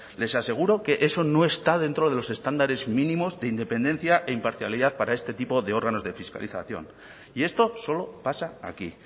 les aseguro que eso no está dentro de los estándares mínimos de independencia e imparcialidad para este tipo de órganos de fiscalización y esto solo pasa aquí